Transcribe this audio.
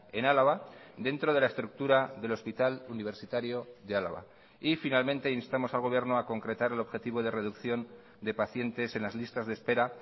en álava dentro de la estructura del hospital universitario de álava y finalmente instamos al gobierno a concretar el objetivo de reducción de pacientes en las listas de espera